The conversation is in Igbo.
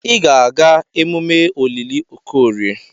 Ị ga-aga emume olili Okorie!